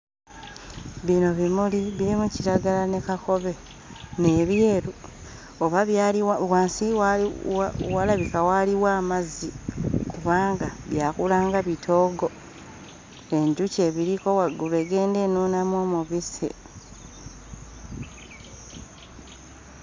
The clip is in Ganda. Bino bimuli birimu kiragala ne kakobe, n'ebyeru oba byali wa... wansi wali, walabika waliwo amazzi kubanga byakula nga bitoogo enjuki ebiriko waggulu egenda enuunamu omubisi.